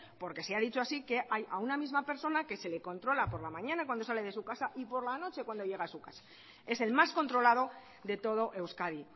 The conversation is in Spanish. porque se ha dicho así que a una misma persona que se le controla por la mañana cuando sale de su casa y por la noche cuando llega a su casa es el más controlado de todo euskadi